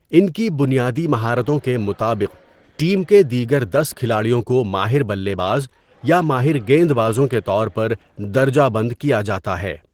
ان کی بنیادی مہارتوں کے مطابق ٹیم کے دیگر دس کھلاڑیوں کو ماہر بلے باز یا ماہر گیند بازوں کے طور پر درجہ بند کیا جاتا ہے۔